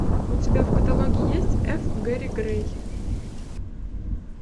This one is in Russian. у тебя в каталоге есть эф гэри грей